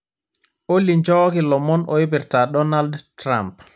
olly nchooki ilomon oipirta donald trump